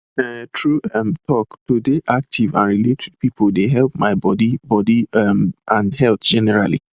um true um talk to dey active and relate with people dey help my body body um and health generally